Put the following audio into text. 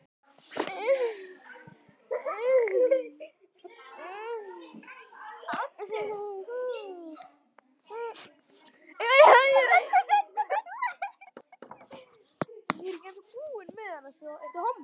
Jóna María.